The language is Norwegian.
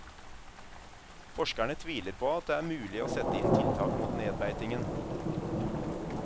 Forskerne tviler på at det er mulig å sette inn tiltak mot nedbeitingen.